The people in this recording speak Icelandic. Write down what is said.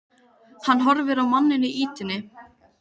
Tóti var feginn að vinur hans hafði tekið sönsum.